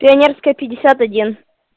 пионерская пятьдесят один